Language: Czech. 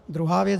Druhá věc.